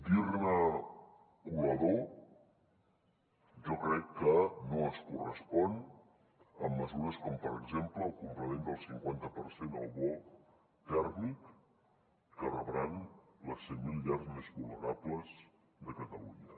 dir ne colador jo crec que no es correspon amb mesures com per exemple el complement del cinquanta per cent al bo tèrmic que rebran les cent mil llars més vulnerables de catalunya